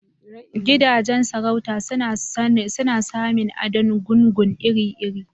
Gidajen sarauta suna samin adon gungun ire irw